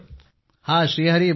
हां हरी बोला